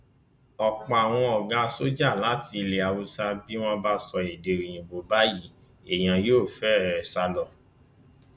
ọ̀pọ̀ àwọn ọ̀gá sójà láti ilẹ haúsá bí wọn bá sọ èdè òyìnbó báyìí èèyàn yóò fẹre sá lọ